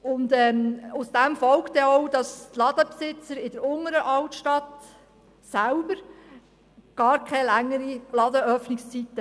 Und deswegen wollen wahrscheinlich die Ladenbesitzer in der Unteren Altstadt selber gar keine längeren Ladenöffnungszeiten.